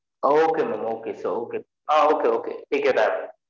ah okay mam okay so uh okay okay take your time